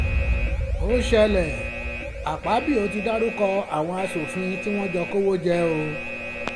ó ṣẹlẹ̀ àkọ́bío ti dárúkọ àwọn aṣòfin tí wọ́n jọ kówó jẹ́ o